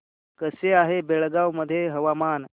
कसे आहे बेळगाव मध्ये हवामान